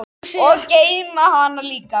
Og geyma hana líka.